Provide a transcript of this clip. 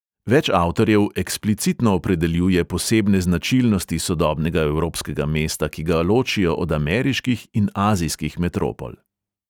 Več avtorjev eksplicitno opredeljuje posebne značilnosti sodobnega evropskega mesta, ki ga ločijo od ameriških in azijskih metropol.